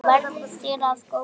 Verði þér að góðu.